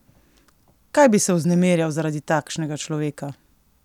Kaj bi se vznemirjal zaradi takšnega človeka?